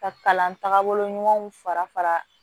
Ka kalan tagabolo ɲumanw fara fara fara